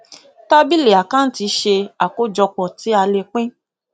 tábílì àkántì ṣe àkójọpọ tí a le pín